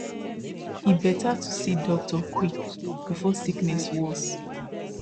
e better to see doctor quick before sickness worse